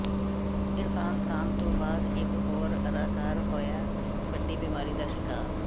ਇਰਫ਼ਾਨ ਖ਼ਾਨ ਤੋਂ ਬਾਅਦ ਇਕ ਹੋਰ ਅਦਾਕਾਰ ਹੋਇਆ ਵੱਡੀ ਬਿਮਾਰੀ ਦਾ ਸ਼ਿਕਾਰ